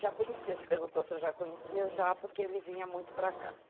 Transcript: Já conhecia, se perguntou se eu já conhecia, já, porque ele vinha muito para cá.